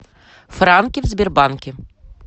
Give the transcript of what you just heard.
франки в сбербанке